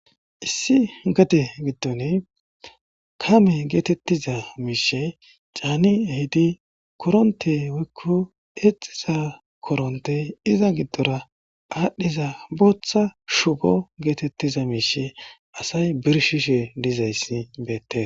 issi gade giddone kame geetettiza miishe caani ehidi koronte woykko eexiza koronte iza giddora aadhdhiza booththa shubo geetettiza miishe asay birshishe dizayssi beette